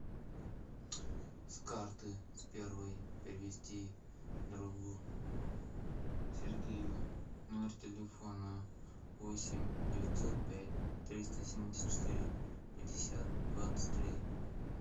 с карты с первой перевести другу сергею номер телефона восемь девятьсот пять триста семьдесят четыре пятьдесят двадцать три